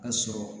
A sɔrɔ